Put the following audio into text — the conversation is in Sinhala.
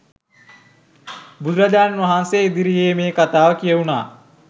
බුදුරජාණන් වහන්සේ ඉදිරියේ මේ කථාව කියැවුනා.